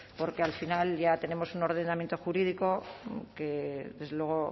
porque al final ya tenemos un ordenamiento jurídico que desde luego